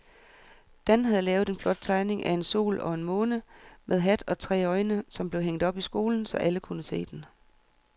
Dan havde lavet en flot tegning af en sol og en måne med hat og tre øjne, som blev hængt op i skolen, så alle kunne se den.